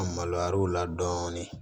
An maloyar'u la dɔɔnin